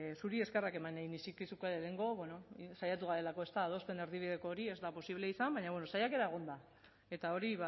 zuri eskerrak eman nahi nizkizuke lehenengo bueno saiatu garelako adosten erdibideko hori ez da posible izan baina bueno saiakera egon da eta hori